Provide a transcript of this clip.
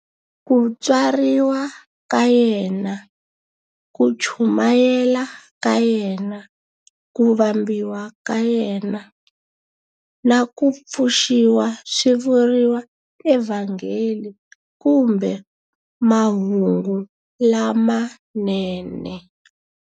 Ku tswariwa ka yena, ku chumayela ka yena, ku vambiwa ka yena, na ku pfuxiwa swi vuriwa eVhangeli kumbe"Mahungu lamanene".